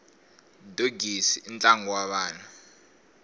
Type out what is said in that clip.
dogisi i ntlangu wa vana